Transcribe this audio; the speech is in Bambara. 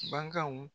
Baganw